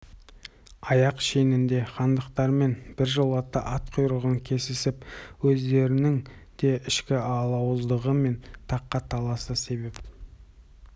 аяқ шенінде ханьдықтармен біржолата ат құйрығын кесісіп өздерінің де ішкі алауыздығы мен таққа таласы себеп